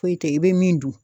Foyi tɛ i bɛ min dun.